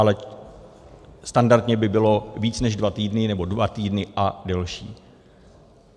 Ale standardně by bylo více než dva týdny, nebo dva týdny a delší.